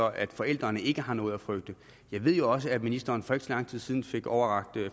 at forældrene ikke har noget at frygte jeg ved også at ministeren for ikke så lang tid siden fik overrakt